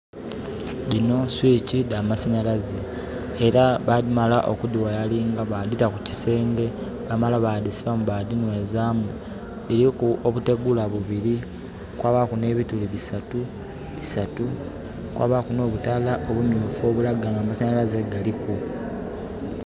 Dino switch da masanhalaze. Era bamala okudi wayalinga badita ku kisenge, bamala badhisibamu ba dhinhwezamu. Diriku obutegula bubiri kwabaku ne bituli bisatu, bisatu, kwabaku no butala obumyufu obulaga nga amasanhalaze galiku